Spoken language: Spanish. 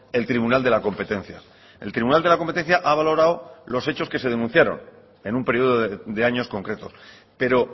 el tribunal de la competencia el tribunal de la competencia ha valorado los hechos que se denunciaron en un periodo de años concretos pero